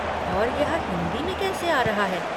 और यह हिन्दी में कैसे आ रहा है?